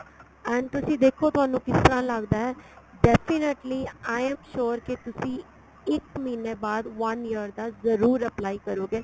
and ਤੁਸੀਂ ਦੇਖੋ ਤੁਹਾਨੂੰ ਕਿਸ ਤਰ੍ਹਾਂ ਲੱਗਦਾ ਏ definitely I am sure ਕੀ ਤੁਸੀਂ ਇੱਕ ਮਹੀਨੇ ਬਾਅਦ one year ਦਾ ਜਰੂਰ apply ਕਰੋਗੇ